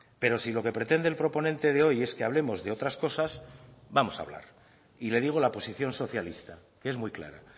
pero si lo que pretende el proponente de hoy es que hablemos de otras cosas vamos a hablar y le digo la posición socialista que es muy clara